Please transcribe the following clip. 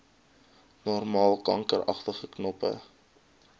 normaal kankeragtige knoppe